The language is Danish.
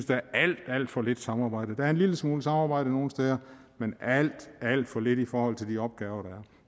der er alt alt for lidt samarbejde der er en lille smule samarbejde nogle steder men alt alt for lidt i forhold til de opgaver der